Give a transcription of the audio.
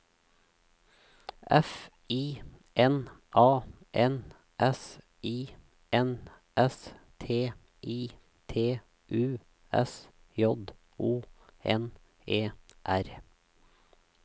F I N A N S I N S T I T U S J O N E R